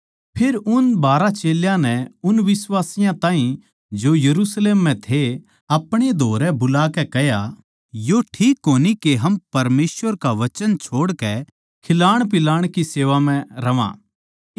फेर उन बारहां चेल्यां नै उन बिश्वासियाँ ताहीं जो यरुशलेम म्ह थे अपणे धोरै बुलाकै कह्या न्यू ठीक कोनी के हम परमेसवर का वचन छोड़कै खिलाणपिलाण की सेवा म्ह रह्वां